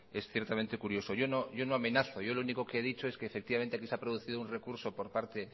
es ciertamente curioso yo no amenazo yo lo único que he dicho es que efectivamente aquí se ha producido un recurso por parte